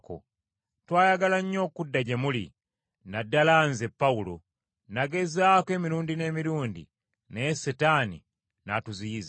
Twayagala nnyo okudda gye muli, na ddala nze, Pawulo; nagezaako emirundi n’emirundi, naye Setaani n’atuziyiza.